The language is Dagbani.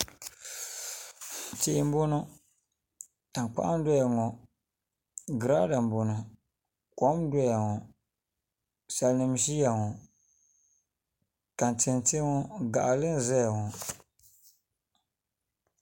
Tihi n boŋo tankpaɣu n doya ŋo girada n boŋo kom n doya ŋo salnim n ʒiya ŋo tanti n tiɛ ŋo gaɣali n ʒɛya ŋo